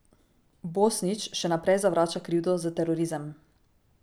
Bosnić še naprej zavrača krivdo za terorizem.